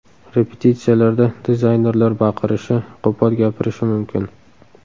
Repetitsiyalarda dizaynerlar baqirishi, qo‘pol gapirishi mumkin.